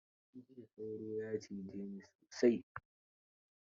Jiya sauro ya cije ni sosai.